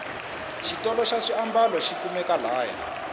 xitolo xa swiambalo xikumeka la haya